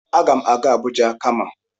Agam aga Abuja kama.